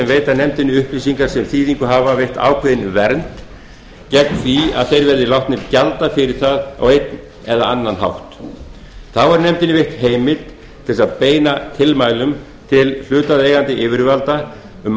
veita nefndinni upplýsingar sem þýðingu hafa veitt ákveðin vernd þannig að þeir verði ekki látnir gjalda fyrir það á einn eða annan hátt þá er nefndinni veitt heimild til að beina tilmælum til hlutaðeigandi yfirvalda um